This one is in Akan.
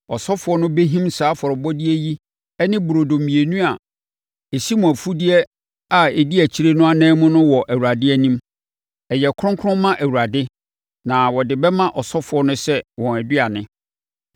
Asɔfoɔ no bɛhim saa afɔrebɔdeɛ yi ne burodo mmienu a ɛsi mo mfudeɛ a ɛdi akyire no ananmu no wɔ Awurade anim. Ɛyɛ kronkron ma Awurade na wɔde bɛma asɔfoɔ no sɛ wɔn aduane.